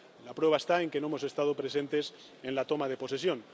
La prueba está en que no hemos estado presentes en la toma de posesión.